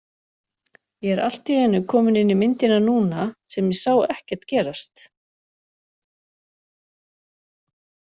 Ég er allt í einu kominn inn í myndina núna sem ég sá ekkert gerast.